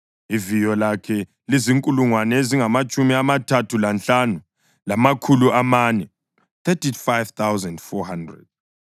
Iviyo lakhe lizinkulungwane ezingamatshumi amathathu lanhlanu, lamakhulu amane (35,400).